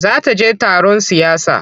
Za ta je taron siyasa.